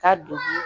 Ka don